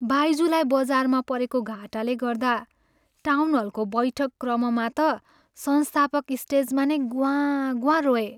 बाइजुलाई बजारमा परेको घाटाले गर्दा टाउनहलको बैठक क्रममा त संस्थापक स्टेजमा नै ग्वाँ ग्वाँ रोए।